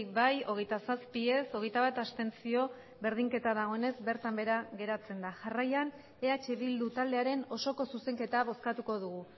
bai hogeita zazpi ez hogeita bat abstentzio berdinketa dagoenez bertan behera geratzen da jarraian eh bildu taldearen osoko zuzenketa bozkatuko dugu